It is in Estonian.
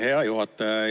Hea juhataja!